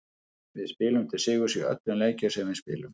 Við spilum til sigurs í öllum leikjum sem við spilum.